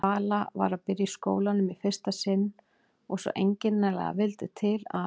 Vala var að byrja í skólanum í fyrsta sinn og svo einkennilega vildi til að